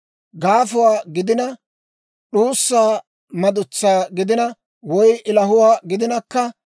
gaafuwaa gidina, d'uussa madutsaa gidina woy ilahuwaa gidinakka,